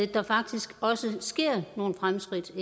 der faktisk også ind imellem sker nogle fremskridt